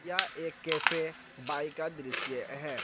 यह एक कैफे बाइ का दृश्य है।